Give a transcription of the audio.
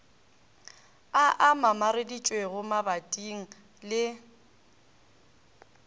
a a mamareditšwego mabating le